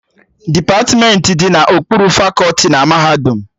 Depatmentị dị n'okpuru fakọti na mahadum